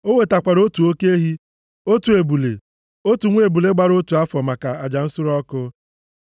O wetakwara otu oke ehi, otu ebule, otu nwa ebule gbara otu afọ maka aja nsure ọkụ.